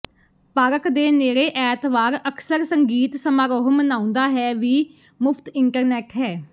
park ਦੇ ਨੇੜੇ ਐਤਵਾਰ ਅਕਸਰ ਸੰਗੀਤ ਸਮਾਰੋਹ ਮਨਾਉਂਦਾ ਹੈ ਵੀ ਮੁਫਤ ਇੰਟਰਨੈੱਟ ਹੈ